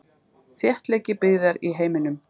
Þéttleiki byggðar í heiminum.